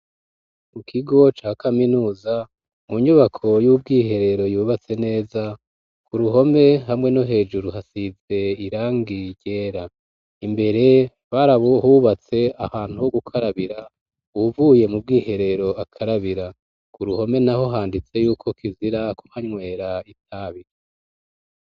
Mu kigo ca kaminuza mu nyubako y'ubwiherero, yubatse neza ku ruhome hamwe no hejuru hasize irangi ryera, imbere barahubatse ahantu ho gukarabira uwuvuye mu bwiherero akarabira. Ku ruhome naho handitse yuko kizira kuhanywera itabi.